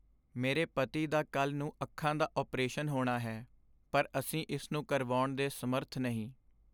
ਮੇਰੇ ਪਤੀ ਦਾ ਕੱਲ੍ਹ ਨੂੰ ਅੱਖਾਂ ਦਾ ਅਪਰੇਸ਼ਨ ਹੋਣਾ ਹੈ ਪਰ ਅਸੀਂ ਇਸ ਨੂੰ ਕਰਵਾਉਣ ਦੇ ਸਮਰੱਥ ਨਹੀਂ।